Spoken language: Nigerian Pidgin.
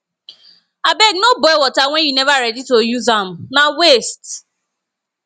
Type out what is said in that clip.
abeg no boil water wen you neva ready to use am na waste